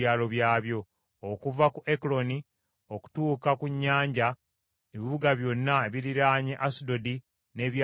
okuva ku Ekuloni okutuuka ku nnyanja, ebibuga byonna ebiriraanye Asudodi n’ebyalo byabyo;